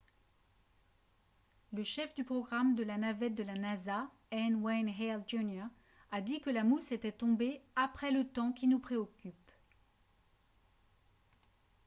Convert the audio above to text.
le chef du programme de la navette de la nasa n. wayne hale jr. a dit que la mousse était tombée « après le temps qui nous préoccupe »